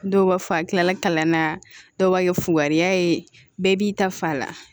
Dɔw b'a fɔ a kilala kalan na dɔw b'a kɛ fugariya ye bɛɛ b'i ta fan la